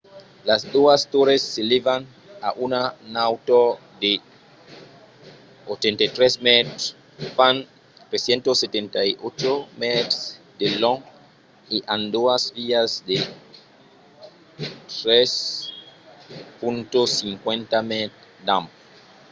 las doas torres s’elèvan a una nautor de 83 mètres fan 378 mètres de long e an doas vias de 3.50 m d’ample